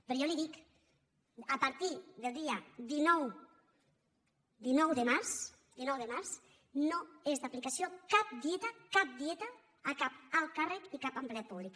però jo li dic a partir del dia dinou de març no és d’aplicació cap dieta cap dieta a cap alt càrrec i cap empleat públic